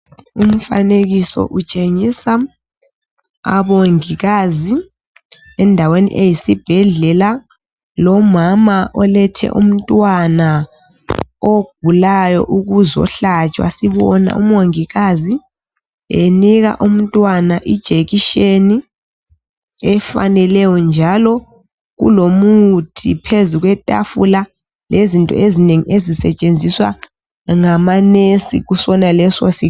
Lumfanekiso utshengisa abongikazi endaweni eyisibhedlela lomama olethe umntwana ogulayo ukuzohlatshwa. Sibona umongikazi enika umntwana ijekiseni efaneleyo njalo kulomuthi phezu kwetafula lezinto ezinengi ezisetshenziswa ngamanesi kusonaleso sibhedlela.